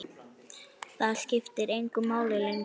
Það skipti engu máli lengur.